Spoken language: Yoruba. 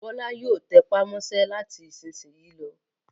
Bọ́lá yóò tẹpá mọ́ṣẹ́ láti ìsìnyín lọ.